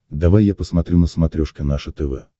давай я посмотрю на смотрешке наше тв